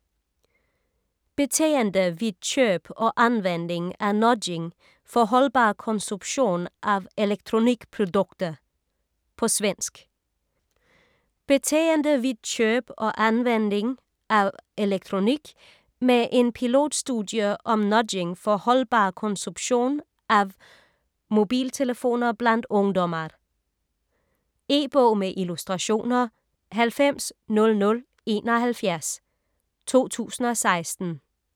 Beteende vid köp och användning av Nudging för hållbar konsumtionav elektronikprodukter På svensk. Beteende vid köp och användning av elektronik, med en pilotstudie om nudging för hållbar konsumtionav mobiltelefoner bland ungdomar. E-bog med illustrationer 900071 2016.